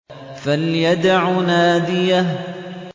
فَلْيَدْعُ نَادِيَهُ